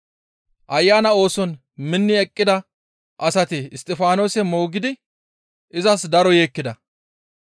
Ayana ooson minni eqqida asati Isttifaanose moogidi izas daro yeekkida.